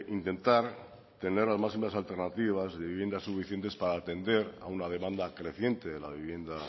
intentar tener las máximas alternativas de viviendas suficientes para atender una demanda creciente de la vivienda